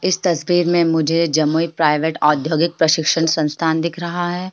इस तस्वीर में मुझे जमुई प्राइवेट औद्योगिक प्रशिक्षण संस्थान दिख रहा है।